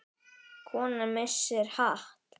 Kona missir hatt.